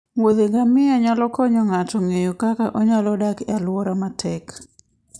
wuothe ngamia nyalo konyo ng'ato ng'eyo kaka onyalo dak e alwora matek.